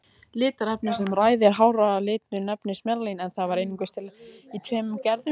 Litarefnið sem ræður háralitnum nefnist melanín, en það er einungis til í tveimur gerðum.